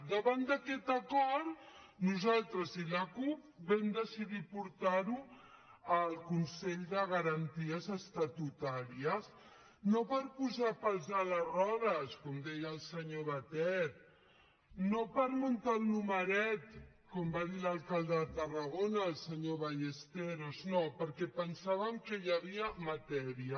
davant d’aquest acord nosaltres i la cup vam decidir portar ho al consell de garanties estatutàries no per posar pals a les rodes com deia el senyor batet no per muntar el numeret com va dir l’alcalde de tarragona el senyor ballesteros no perquè pensàvem que hi havia matèria